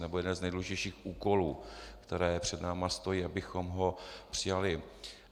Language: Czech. Nebo jeden z nejdůležitějších úkolů, které před námi stojí, abychom ho přijali.